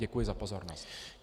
Děkuji za pozornost.